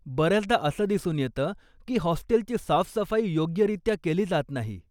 बऱ्याचदा असं दिसून येतं की हॉस्टेलची साफसफाई योग्यरित्या केली जात नाही.